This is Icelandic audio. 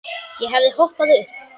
Ég hefði hoppað upp.